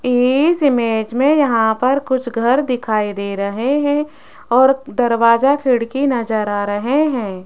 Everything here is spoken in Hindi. इस इमेज में यहां पर कुछ घर दिखाई दे रहे हैं और दरवाजा खिड़की नज़र आ रहे हैं।